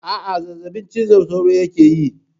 Aa, zazzabin cizon sauro yake yi